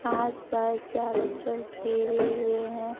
आस पास चारों तरफ घेरे हुए हैं।